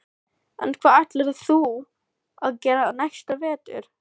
En hvað ætlar þú að gera næsta vetur?